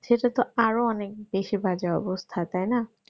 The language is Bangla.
সেটা তো আরো অনেক বেশি বাজে অবস্থা তাই না